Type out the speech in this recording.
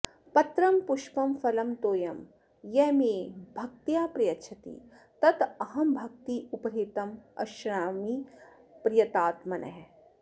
पत्रं पुष्पं फलं तोयं यः मे भक्त्या प्रयच्छति तत् अहं भक्ति उपहृतम् अश्नामि प्रयतात्मनः